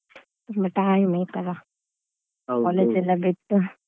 ತುಂಬಾ time ಆಯ್ತಲ್ಲ college ಎಲ್ಲಾ ಬಿಟ್ಟು.